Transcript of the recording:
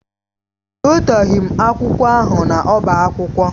Ewetaghị m akwụkwọ ahụ n'ọbá akwụkwọ.